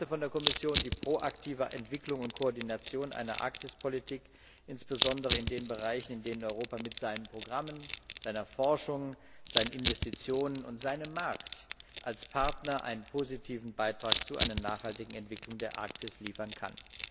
Ich erwarte von der Kommission die proaktive Entwicklung und Koordination einer Arktispolitik, insbesondere in den Bereichen, in denen Europa mit seinen Programmen, seiner Forschung, seinen Investitionen und seinem Markt als Partner einen positiven Beitrag zu einer nachhaltigen Entwicklung der Arktis liefern kann.